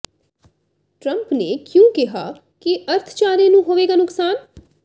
Trump ਨੇ ਕਿਉਂ ਕਿਹਾ ਕਿ ਅਰਥਚਾਰੇ ਨੂੰ ਹੋਵੇਗਾ ਨੁਕਸਾਨ